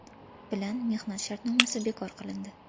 bilan mehnat shartnomasi bekor qilindi.